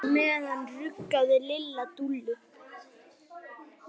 Á meðan ruggaði Lilla Dúllu.